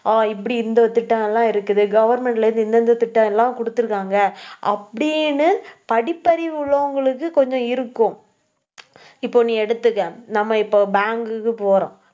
ஹம் இப்படி இந்த திட்டம் எல்லாம் இருக்குது. government ல இருந்து இந்த இந்த திட்டம் எல்லாம் குடுத்திருக்காங்க அப்படின்னு படிப்பறிவு உள்ளவங்களுக்கு கொஞ்சம் இருக்கும். இப்போ நீ எடுத்துக்க. நம்ம இப்போ bank க்கு போறோம்